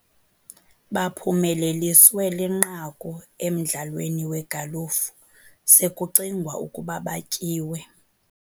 Baphumeleliswe linqaku emdlalweni wegalufu sekucingwa ukuba batyiwe..